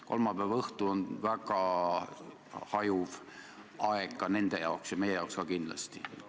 Kolmapäeva õhtu on ettekandjate jaoks väga ebamäärane aeg ja meie jaoks kindlasti ka.